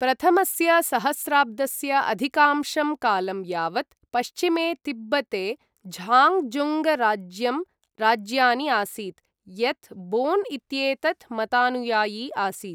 प्रथमस्य सहस्राब्दस्य अधिकांशं कालं यावत् पश्चिमे तिब्बते झाङ्गझुङ्गराज्यम् राज्यानि आसीत्, यत् बोन् इत्येतत् मतानुयायी आसीत्।